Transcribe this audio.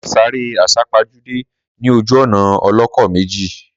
Mà ṣàrẹ́ àsápájudé ní ojú ònà ọlọ́kọ̀ méjì